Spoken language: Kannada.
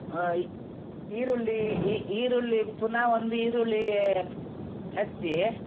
ಅ ಈರುಳ್ಳೀ ಈ ಈರುಳ್ಳಿ ಪುನ ಒಂದ್ ಈರುಳ್ಳೀ ಹೆಚ್ಚೀ.